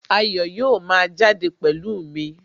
Ayọ̀ yóò máa jáde pẹ̀lú mi